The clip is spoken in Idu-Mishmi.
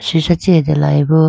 sisha chee ate layi bo.